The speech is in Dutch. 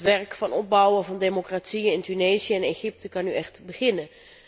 Het werk van opbouw en van democratie in Tunesië en Egypte kan nu echt beginnen.